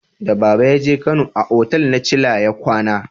Da baba ya je kano, a otal na chilla ya kwana